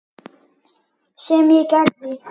Sem ég gerði.